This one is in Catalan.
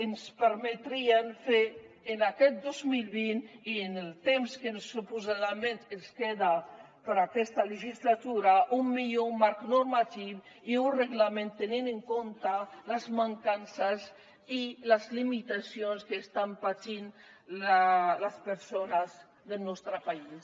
ens permetrà fer en aquest dos mil vint i en el temps que suposadament ens queda d’aquesta legislatura un millor marc normatiu i un reglament que tingui en compte les mancances i les limitacions que estan patint les persones del nostre país